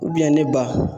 ne ba